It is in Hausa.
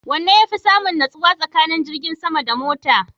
Wanne yafi samun nutsuwa tsakanin jirgin sama da mota?